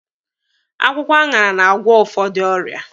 Akwụkwọ aṅara na-agwụ ụfọdụ ọrịa.